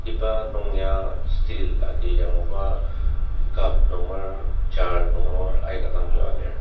iba nung ya steel agi yangluba cup nunger jar nunger aika dang yua lir.